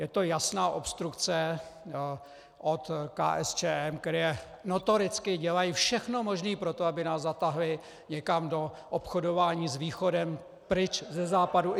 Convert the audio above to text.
Je to jasná obstrukce od KSČM, která notoricky dělá všechno možné pro to, aby nás zatáhli někam do obchodování s Východem, pryč ze Západu.